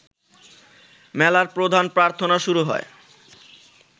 মেলার প্রধান প্রার্থনা শুরু হয়